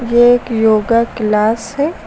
ये एक yoga class है।